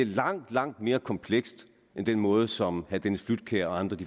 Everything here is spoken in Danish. langt langt mere komplekst end den måde som herre dennis flydtkjær og andre